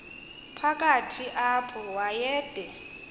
phakathi apho wayede